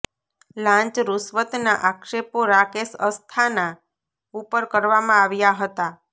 લાંચ રૂશ્વતના આક્ષેપો રાકેશ અસ્થાના ઉપર કરવામાં આવ્યા હતા